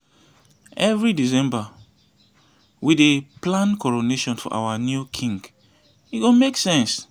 we don dey plan coronation for our new king e go make sense.